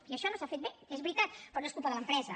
i això no s’ha fet bé és veritat però no és culpa de l’empresa